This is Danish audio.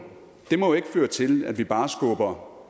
må jo ikke føre til at vi bare skubber